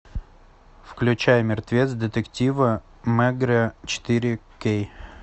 включай мертвец детектива мегрэ четыре кей